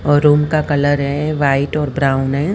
और रूम का कलर ये वाइट और ब्राउन है।